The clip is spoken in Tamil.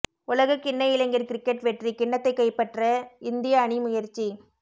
உலகக்கிண்ண இளைஞர் கிரிக்கெட் வெற்றிக் கிண்ணத்தை கைப்பற்ற இந்திய அணி முயற்சி